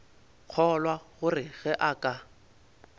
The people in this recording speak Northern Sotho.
kgolwa gore ge a ka